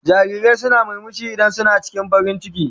Jarirai suna murmushi idan suna farin ciki.